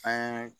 An ye